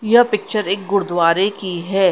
यह पिक्चर एक गुरुद्वारे की है।